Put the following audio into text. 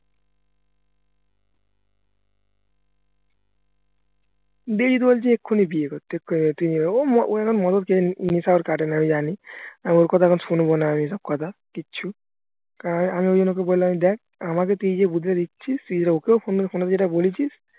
দিয়েজিত বলছে এখনই বিয়ে করতে উহ ওই এখন মদের নেশা ওর কাটেনা আমি জানি আর ওর কথা এখন শুনবনা আমি এইসব কথা কিচ্ছু কারণ আমি ঐজন্যে ওকে বললাম দেখ আমাদের এইযে তুই বুদ্ধিটা দিচ্ছিস তুই যেটা ওকেও phone এ যেটা বলেছিস